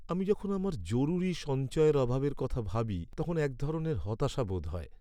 আমি যখন আমার জরুরী সঞ্চয়ের অভাবের কথা ভাবি তখন এক ধরনের হতাশা বোধ হয়।